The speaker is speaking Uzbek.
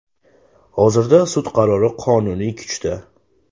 Hozirda sud qarori qonuniy kuchda.